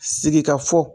Sigikafɔ